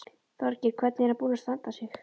Þorgeir: Hvernig er hann búinn að standa sig?